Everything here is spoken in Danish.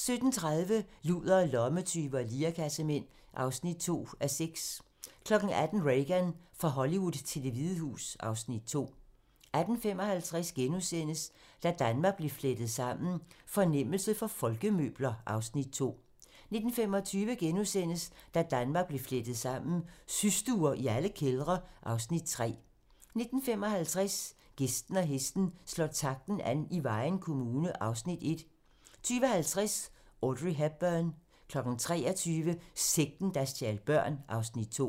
17:30: Ludere, lommetyve og lirekassemænd (2:6) 18:00: Reagan - fra Hollywood til Det Hvide Hus (Afs. 2) 18:55: Da Danmark blev flettet sammen: Fornemmelse for folkemøbler (Afs. 2)* 19:25: Da Danmark blev flettet sammen: Systuer i alle kældre (Afs. 3)* 19:55: Gæsten og hesten - Slår takten an i Vejen Kommune (Afs. 1) 20:50: Audrey Hepburn 23:00: Sekten, der stjal børn (Afs. 2)